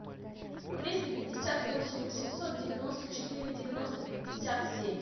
триста пятьдесят восемь восемьсот девяносто четыре девяносто пятьдесят семь